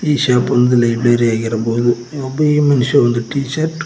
ಈ ಶಾಪ್ ಒಂದು ಲೈಬ್ರರಿ ಆಗಿರಬಹುದು ಒಬ್ಬ ಈ ಮನುಷ್ಯ ಟೀ ಶರ್ಟ್ --